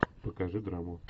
покажи драму